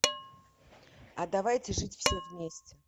а давайте жить все вместе